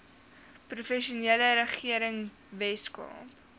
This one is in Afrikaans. provinsiale regering weskaap